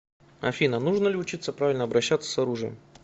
афина нужно ли учиться правильно обращаться с оружием